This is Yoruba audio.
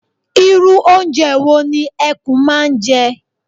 Irú oúnjẹ wo ni ẹkún máa ń jẹ?